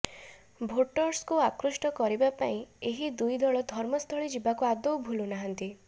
ଭୋଟର୍ଙ୍କୁ ଆକୃଷ୍ଟ କରିବା ପାଇଁ ଏହି ଦୁଇ ଦଳ ଧର୍ମସ୍ଥଳୀ ଯିବାକୁ ଆଦୌ ଭୁଲୁନାହାନ୍ତି